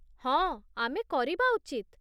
ହଁ, ଆମେ କରିବା ଉଚିତ।